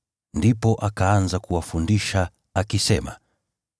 Ndipo akaanza kuwafundisha, akisema: